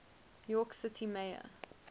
york city mayor